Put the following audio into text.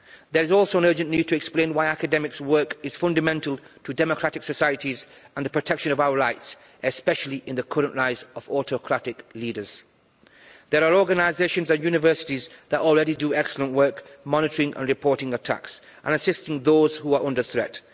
There is also an urgent need to explain why academics' work is fundamental to democratic societies and the protection of our rights, especially in the current rise of autocratic leaders. There are organisations and universities that already do excellent work monitoring and reporting attacks and assisting those who are under threat.